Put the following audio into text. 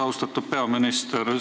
Austatud peaminister!